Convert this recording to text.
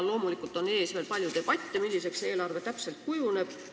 Loomulikult on ees veel palju debatte selle üle, milliseks eelarve täpselt kujuneb.